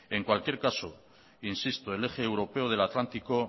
en cualquier caso insisto el eje europeo del atlántico